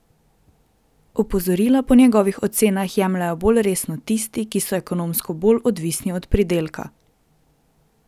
Opozorila po njegovih ocenah jemljejo bolj resno tisti, ki so ekonomsko bolj odvisni od pridelka.